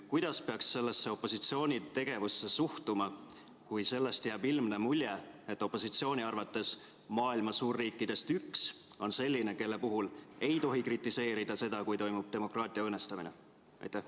Kuidas peaks sellesse opositsiooni tegevusse suhtuma, kui sellest jääb ilmne mulje, et opositsiooni arvates maailma suurriikidest üks on selline, kelle puhul ei tohi kritiseerida seda, kui toimub demokraatia õõnestamine?